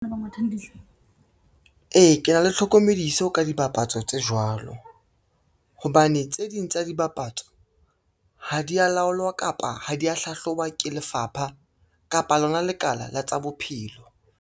Ee, ke na le tlhokomediso ka dibapatso tse jwalo, hobane tse ding tsa dibapatso ha di ya laolwa kapa ha dia hlahloba ke lefapha kapa lona lekala la tsa bophelo.